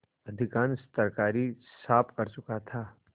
अधिकांश तरकारी साफ कर चुका था